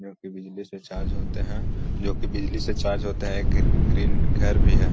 जो की बिजली से चार्ज होते हैं जो की बिजली से चार्ज होते हैं एक ग्री ग्रीन घर भी है।